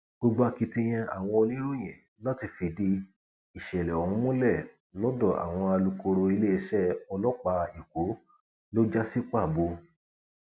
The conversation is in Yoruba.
gbogbo akitiyan àwọn oníròyìn láti fìdí ìṣẹlẹ ọhún múlẹ lọdọ alukoro iléeṣẹ ọlọpàá èkó ló já sí pàbó